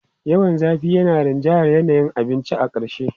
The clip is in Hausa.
Yawan zafi yana rinjayar yanayin abincin a ƙarshe.